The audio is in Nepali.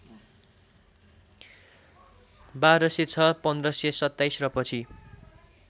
१२०६ १५२७ र पछि